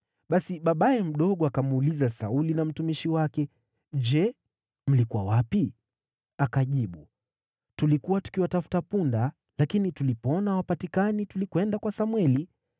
Basi babaye mdogo akamuuliza Sauli na mtumishi wake, “Je, mlikuwa wapi?” Akajibu, “Tulikuwa tukiwatafuta punda. Lakini tulipoona hawapatikani, tulikwenda kwa Samweli.”